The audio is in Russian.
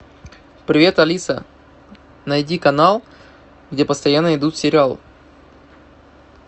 привет алиса найди канал где постоянно идут сериалы